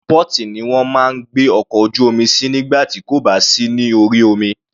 Inú port ni wọ́n máa ń gbé ọkọ̀ ojú omi sí nígbà tí kò bá sí ní orí omi.